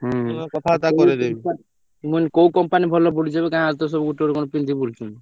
ହୁଁ ମୁଁ କଥାବାର୍ତା କରେଇଦେବୀ ମୁଁ କହିଲି କୋଉ company ଭଲ ପଡୁଛି ଏବେ ଗାଁରେ ତ କଣ ସବୁ ଗୋଟେ ଗୋଟେ ପିନ୍ଧି ବୁଲୁଛନ୍ତି।